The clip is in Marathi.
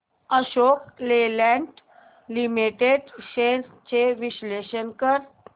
अशोक लेलँड लिमिटेड शेअर्स चे विश्लेषण कर